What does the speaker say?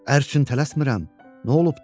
Ər üçün tələsmirəm, nə olubdu, nə?